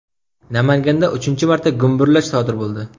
Namanganda uchinchi marta gumburlash sodir bo‘ldi.